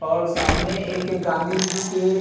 और सामने एक गाँधी जी के--